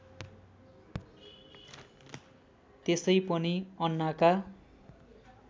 त्यसै पनि अन्नाका